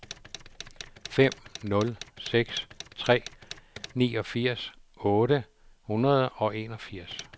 fem nul seks tre niogfirs otte hundrede og enogfirs